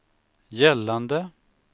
gällande